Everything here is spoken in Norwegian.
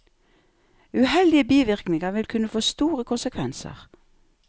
Uheldige bivirkninger vil kunne få store konsekvenser.